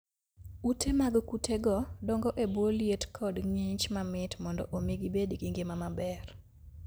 Ute mag kutego dongo e bwo liet kod ng'ich mamit mondo omi gibed gi ngima maber